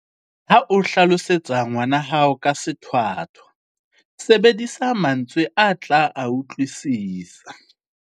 Ha o hlalosetsa ngwana hao ka sethwathwa, sebedisa mantswe a tla a utlwisisa.